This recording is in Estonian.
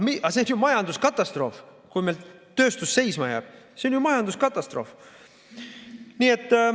Aga see on ju majanduskatastroof, kui meil tööstus seisma jääb, see on ju majanduskatastroof.